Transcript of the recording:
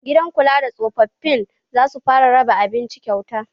Gidan kula da tsofaffin zasu fara raba abinci kyauta